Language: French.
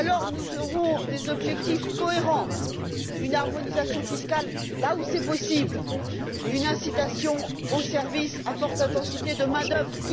Nous aurons alors des objectifs cohérents, une harmonisation fiscale là où c'est possible, une incitation aux services à forte intensité de main d'œuvre.